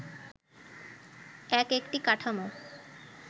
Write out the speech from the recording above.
এক একটি কাঠামো